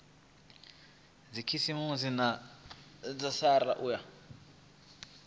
dzikhasiama dza srsa u ya